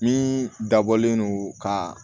Min dabɔlen don ka